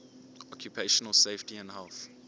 occupational safety and health